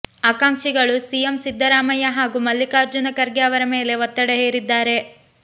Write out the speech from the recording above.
ಆಕಾಂಕ್ಷಿಗಳು ಸಿಎಂ ಸಿದ್ದರಾಮಯ್ಯ ಹಾಗೂ ಮಲ್ಲಿಕಾರ್ಜುನ ಖರ್ಗೆ ಅವರ ಮೇಲೆ ಒತ್ತಡ ಹೇರಿದ್ದಾರೆ